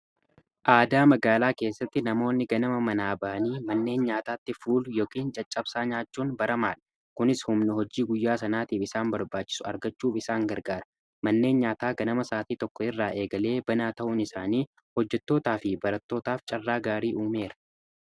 aadaa magaalaa keessatti namoonni ganama manaa baanii manneen nyaataatti fuulu yookin caccabsaa nyaachuun baramaadha kunis humna hojii guyyaa sanaatiif isaan barbaachisu argachuuf isaan gargaara manneen nyaataa ganama isaatii tokko irraa eegalee banaa ta'uun isaanii hojjetootaa fi baratootaaf carraa gaarii uumeera